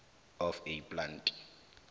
of a plant